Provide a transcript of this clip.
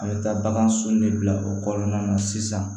A bɛ taa bagan sun de bila o kɔnɔna na sisan